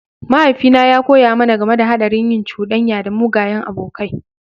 Mahaifina ya koya mana game da haɗarin yin cuɗanya da mugayen abokai.